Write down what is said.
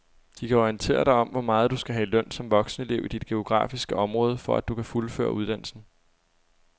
De kan orientere dig om hvor meget du skal have i løn som voksenelev i dit geografiske område, for at du kan fuldføre uddannelsen.